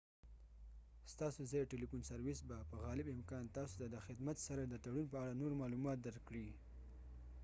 ستاسو ځايي ټیلیفون سروس به په غالب امکان تاسو ته خدمت سره د تړون په اړه نور معلومات درکړي